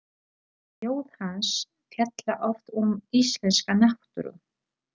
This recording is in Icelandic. Ljóð hans fjalla oft um íslenska náttúru.